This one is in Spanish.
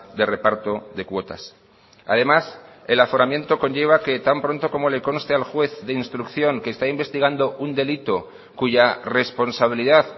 de reparto de cuotas además el aforamiento conlleva que tan pronto como le conste al juez de instrucción que está investigando un delito cuya responsabilidad